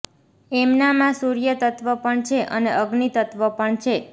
એમનામાં સૂર્ય તત્ત્વ પણ છે અને અગ્નિ તત્ત્વ પણ છે